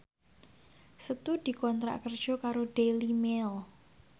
Setu dikontrak kerja karo Daily Mail